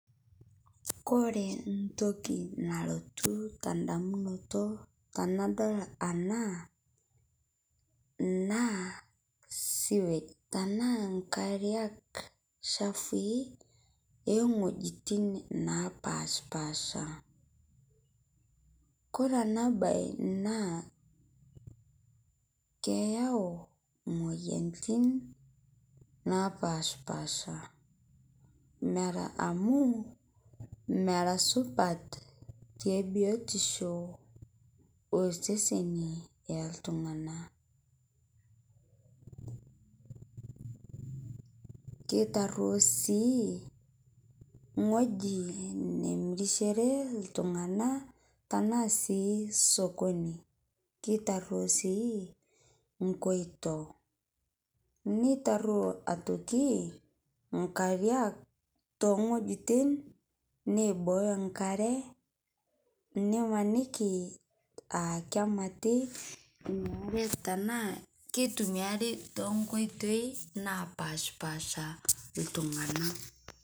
Kore ntoki nalotu tandamunoto tanadol ana, naa sewage tanaa nkariak chafui eng'ojitin napashpaasha. Kore ana bai naa keyau moyanitin napashpaasha mera amu mera supat tebiotisho oseseni oltungana, keitaruo sii ngoji nemirisheree ltung'ana tanaa sii sokoni, keitaruo sii nkoito, neitaruo otoki nkariak tongokjitin neibooyo nkaree nimaniki aa kemati inia aree tanaa keitumiari tenkoitei napashpaasha ltung'ana.